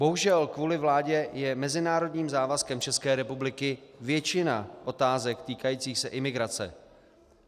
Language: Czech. Bohužel kvůli vládě je mezinárodním závazkem České republiky většina otázek týkajících se imigrace.